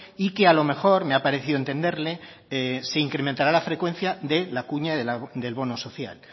y que a lo mejor me ha parecido entenderle se incrementará la frecuencia de la cuña del bono social